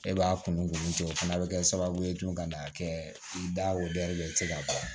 E b'a kun cɛ o fana bɛ kɛ sababu ye tugun ka n'a kɛ i da la i tɛ se ka bɔ